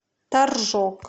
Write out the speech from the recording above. торжок